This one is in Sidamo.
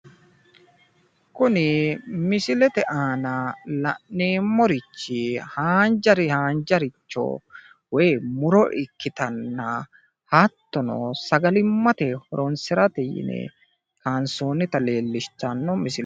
kuni misilete aana la'neemorichi haanjaricho woyi muro ikkitanna hattono sagalimmate horonsirate yine kaansoonnita leellishshanno misileeti.